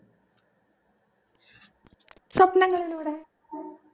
സ്വപ്നങ്ങളിലൂടെ